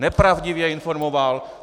Nepravdivě informoval.